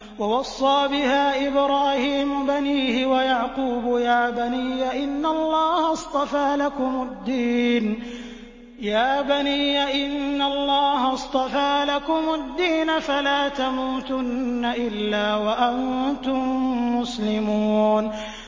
وَوَصَّىٰ بِهَا إِبْرَاهِيمُ بَنِيهِ وَيَعْقُوبُ يَا بَنِيَّ إِنَّ اللَّهَ اصْطَفَىٰ لَكُمُ الدِّينَ فَلَا تَمُوتُنَّ إِلَّا وَأَنتُم مُّسْلِمُونَ